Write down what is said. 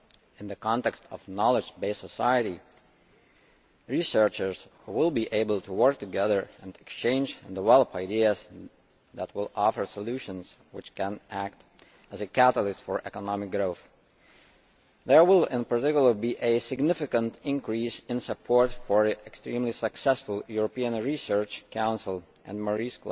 In the context of a knowledge based society, researchers will be able to work together and exchange and develop ideas that will offer solutions which can act as a catalyst for economic growth. There will, in particular, be a significant increase in support for the extremely successful European Research Council and Marie